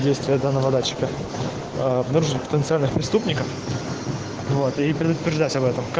действие данного датчика преступников золотые предупреждать